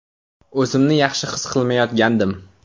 O‘zimni yaxshi his qilmayotgandim.